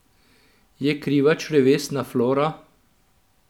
Je kriva črevesna flora?